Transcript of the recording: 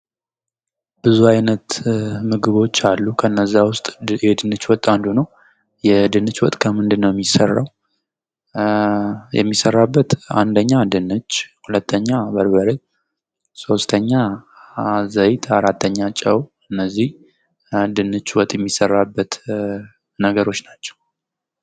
ብዙ አይነት ምግቦች አሉ። ከእነዚህም ውስጥ የድንች ወጥ አንዱ ነው። የድንች ወጥ ከምንድነው የሚሰራው? የሚሰራበት አንደኛ ድንች፣ ሁለተኛ በርበሬ፣ ሶስተኛ ዘይት፣ አራተኛ፣ ጨው እነዚህ ድንች ወጥ የሚሰራበት ነገሮች ናቸው።